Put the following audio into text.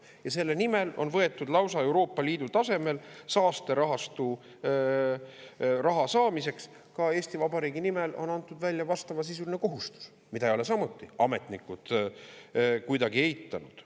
Ja selle nimel on võetud lausa Euroopa Liidu tasemel saasterahastu raha saamiseks, ka Eesti Vabariigi nimel on antud välja vastavasisuline kohustus, mida ei ole samuti ametnikud kuidagi eitanud.